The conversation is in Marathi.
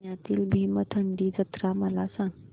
पुण्यातील भीमथडी जत्रा मला सांग